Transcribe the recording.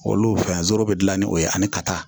Olu fɛn zolo be gilan ni o ye ani ka taa